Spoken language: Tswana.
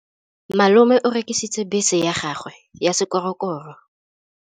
Malome o rekisitse bese ya gagwe ya sekgorokgoro.